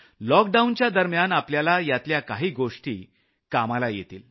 लॉकडाऊनच्या दरम्यान आपल्याला यातल्या काही गोष्टी कामाला येतील